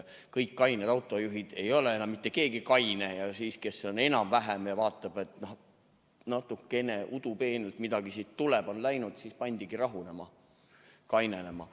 Kõik on kained autojuhid, aga siis ei ole enam mitte keegi kaine ja see, kes on enam-vähem, vaatab, et natukene udupeenelt midagi siit tuleb, siis ta pannaksegi rahunema, kainenema.